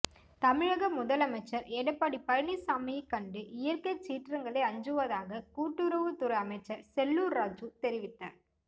தமிழக முதலமைச்சர் எடப்பாடி பழனிசாமியைக் கண்டு இயற்கை சீற்றங்களே அஞ்சுவதாக கூட்டுறவுத்துறை அமைச்சர் செல்லூர் ராஜூ தெரிவித்தார்